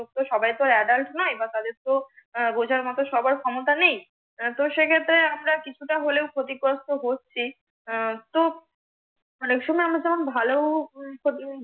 তো সবাই তো ADULT নয়, বা তাদের বুঝার মতো সবার ক্ষমতা নেই তো সেক্ষত্রে আমরা কিছুটা হলেও আমরা ক্ষতিগ্রস্থ হচ্ছি তো অনেক সময় আমার যেমন ভালোও